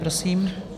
Prosím.